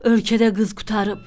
Ölkədə qız qurtarıb.